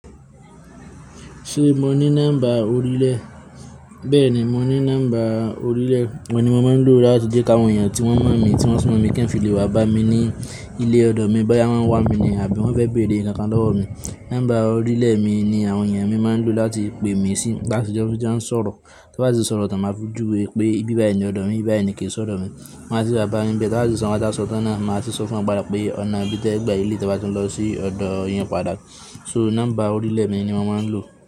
Ṣé mo ní nọ́mbà orílẹ̀? Bẹ́ẹ̀ni mo ní nọ́mbà orílẹ̀ wọ́n ni mo máa ń lò láti jẹ́ káwọn èèyàn tí wọ́n mọ̀ mí, tí wọ́n sun mọ̀ mi kẹ́ń fi lè wá bá mi ní ilé ọ̀dọ̀ mi bóyá wọ́n ń wá mi ni àbí wọ́n fẹ́ béèrè ǹkan lọ́wọ́ mi. Nọ́mbà orílẹ̀ mi ni àwọn èèyàn mi máa ń lò láti pe mí sí nígbà tí wọ́n bá ti ń sọ̀rọ̀. Tí wọ́n bá ti ń sọ̀rọ̀, tan máa fojú we pé bí báyìí ni ọ̀dọ̀ mi, ibi báyìí ni ké sọ́dọ̀ mi. Máa sì wa báyin níbẹ̀ tí wọ́n bá ti sanwó, nkan ti sanwó tán náà, màá sì sọ fún wọn padà pé ọ̀nà bí tẹ gbà ilé tí wọ́n bá ti ń lọ sí ọ̀dọ̀ yẹn padà. So nọ́mbà orílẹ̀ mi ni mo máa ń lò.